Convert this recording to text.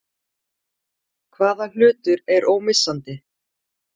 Hvaða hlutur er ómissandi?